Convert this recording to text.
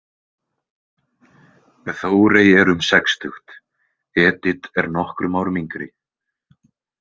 Þórey er um sextugt, Edit er nokkrum árum yngri.